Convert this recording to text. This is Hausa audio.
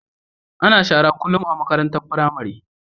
Ana shara kullum a makarantar pramari